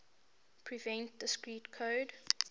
prevent discrete code